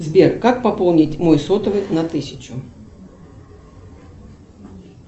сбер как пополнить мой сотовый на тысячу